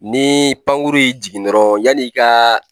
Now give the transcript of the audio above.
Ni pankuru y'i jigin dɔrɔn yan'i kaa